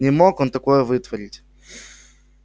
не мог он такое вытворить